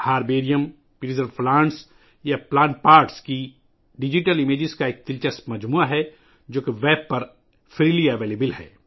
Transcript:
Indian virtual herbarium محفوظ پودوں یا پودوں کے حصوں کی ڈیجیٹل تصاویر کا ایک دلچسپ مجموعہ ہے، جو ویب پر مفت دستیاب ہیں